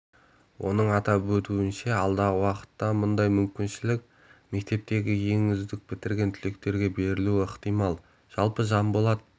оның атап өтуінше алдағы уақытта мұндай мүмкіншілік мектепті ең үздік бітірген түлектерге берілуі ықтимал жалпы жанболат